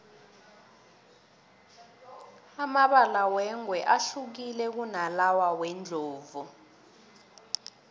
amabala wengwe ahlukile kunalawa wendlovu